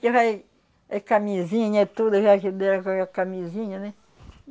Que vai, é camisinha, é tudo, já ajuda a por a camisinha, né?